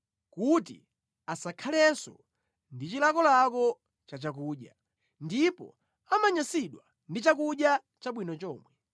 kuti asakhalenso ndi chilakolako cha chakudya, ndipo amanyansidwa ndi chakudya chabwino chomwe.